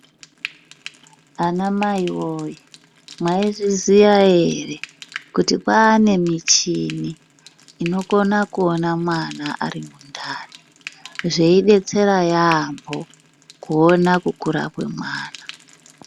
Ana mai woyee mwaizviziya ere kuti kwaane michini unokona kuona mwana ari mundani zveibetsera yaambo kuona kukura kwemwana.